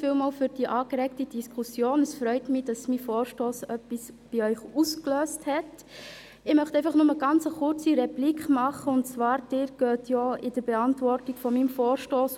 Dafür bin ich Ihnen dankbar, und ich hoffe, dass Sie auch wirklich an der richtigen Stelle drücken.